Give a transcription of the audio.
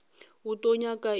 o tlo nyaka eng mo